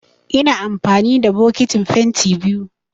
Ina amfani da bokitin fenti biyu